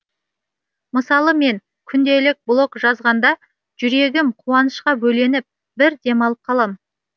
мысалы мен күнделік блог жазғанда жүрегім қуанышқа бөленіп бір демалып қалам